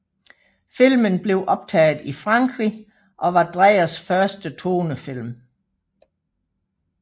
Filmen blev optaget i Frankrig og var Dreyers første tonefilm